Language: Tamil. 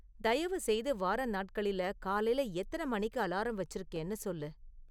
தயவுசெய்து வார நாட்களில காலையில எத்தனை மணிக்கு அலாரம் வச்சிருக்கேன்னு சொல்லு